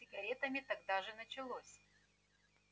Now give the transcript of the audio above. с сигаретами тогда же началось